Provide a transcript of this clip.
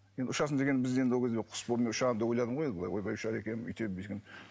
енді ұшасың дегенде біз енді ол кезде құс болып мен ұшамын деп ойладым ғой енді былай ойбай ұшады екенмін өйтемін бүйтемін